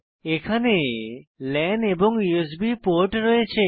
এখানে লান এবং USB port রয়েছে